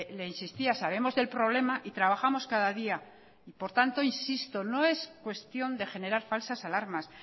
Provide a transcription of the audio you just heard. le insistía sabemos del problema y trabajamos cada día por tanto insisto no es cuestión de generar falsas alarmas